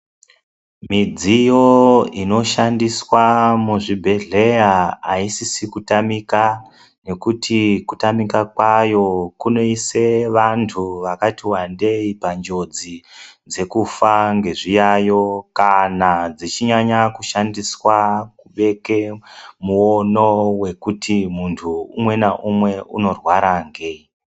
Midziyo inoshandiswa muzvibhedhlera aisisi kutamika ngekuti kutamika kwayo kunoisa vantu vakatiwndei panjodzi yekufa ngezviyaiyo kana dzechinyanya kushandiswa kubeke muono wekuti muntu umwengaumwe, umwe unorwara ngei.